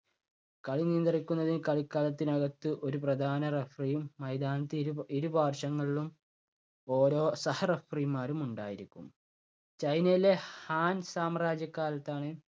കളി നിയന്ത്രിക്കുന്നതിന് കളിക്കളത്തിനകത്ത് ഒരു പ്രധാന referee യും മൈതാനത്ത് ഇരു, ഇരു പാർശ്വങ്ങളിലും ഓരോ സഹ referee മാരും ഉണ്ടായിരിക്കും. ചൈനയിലെ ഹാൻ സാമ്രാജ്യ കാലത്താണ്